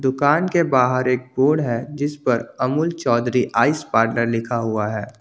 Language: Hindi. दुकान के बाहर एक बोर्ड है जिस पर अमूल चौधरी आइस पार्लर लिखा हुआ है।